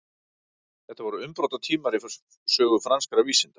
þetta voru umbrotatímar í sögu franskra vísinda